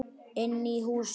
Inn í húsið?